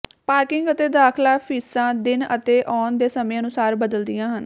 parking ਅਤੇ ਦਾਖਲਾ ਫ਼ੀਸਾਂ ਦਿਨ ਅਤੇ ਆਉਣ ਦੇ ਸਮੇਂ ਅਨੁਸਾਰ ਬਦਲਦੀਆਂ ਹਨ